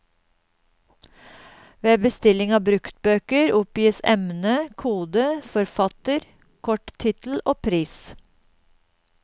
Ved bestilling av bruktbøker oppgis emne, kode, forfatter, kort tittel og pris.